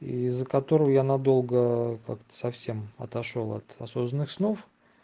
из-за которого я надолго как-то совсем отошёл от осознанных снов